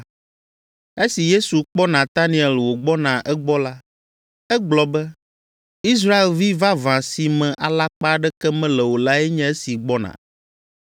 Esi Yesu kpɔ Nataniel wògbɔna egbɔ la, egblɔ be, “Israelvi vavã si me alakpa aɖeke mele o lae nye esi gbɔna.”